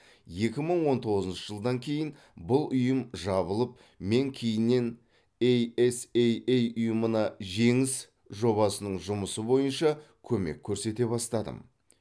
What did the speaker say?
екі мың он тоғызыншы жылдан кейін бұл ұйым жабылып мен кейіннен ей ес ей ей ұйымына жеңіс жобасының жұмысы бойынша көмек көрсете бастадым